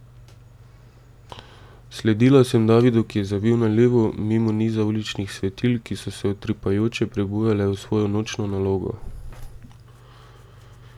Sledila sem Davidu, ki je zavil na levo, mimo niza uličnih svetilk, ki so se utripajoče prebujale v svojo nočno nalogo.